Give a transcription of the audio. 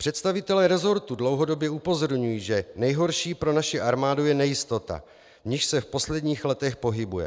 Představitelé resortu dlouhodobě upozorňují, že nejhorší pro naši armádu je nejistota, v níž se v posledních letech pohybuje.